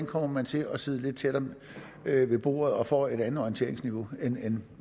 kommer til at sidde lidt tættere ved bordet og måske får et andet orienteringsniveau end